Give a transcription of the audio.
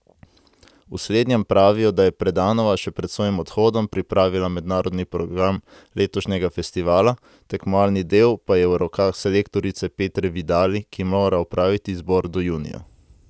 V slednjem pravijo, da je Predanova še pred svojim odhodom pripravila mednarodni program letošnjega festivala, tekmovalni del pa je v rokah selektorice Petre Vidali, ki mora opraviti izbor do junija.